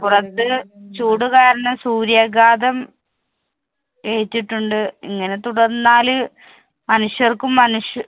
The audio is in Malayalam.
പുറത്ത് ചൂടുകാരണം സൂര്യാഘാതം ഏറ്റിട്ടുണ്ട് ഇങ്ങനെ തുടർന്നാല് മനുഷ്യര്‍ക്കും, മനുഷ്